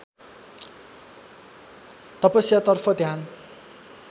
तपस्यातर्फ ध्यान